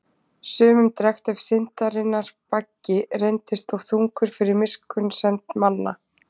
Sumum drekkt ef syndarinnar baggi reyndist of þungur fyrir miskunnsemd manna.